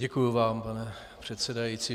Děkuji vám, pane předsedající.